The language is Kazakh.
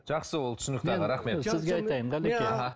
жақсы ол түсінікті аға рахмет